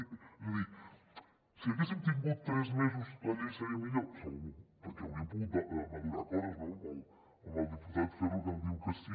és a dir si haguéssim tingut tres mesos la llei seria millor segur perquè hauríem pogut madurar coses no el diputat ferro que diu que sí